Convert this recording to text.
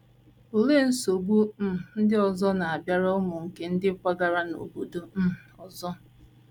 Olee nsogbu um ndị ọzọ na - abịara ụmụ nke ndị kwagara n’obodo um ọzọ?